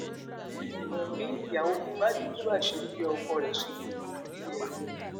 wùnmi ìyàwó mohbad tú àṣírí bí ọkọ rẹ ṣe kú ganan nílẹẹjọ